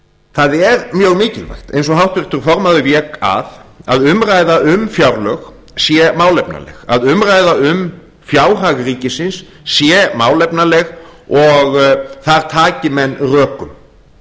það er mjög mikilvægt eins og háttvirtur formaður vék að að umræða um fjárlög sé málefnaleg að umræða um fjárhag ríkisins sé málefnaleg og þar taki menn rökum